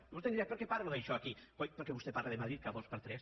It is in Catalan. i vostè em dirà per què parlo d’això aquí coi perquè vostè parla de madrid cada dos per tres